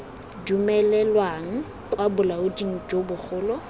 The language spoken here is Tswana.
dumelelwang kwa bolaoding jo bogolo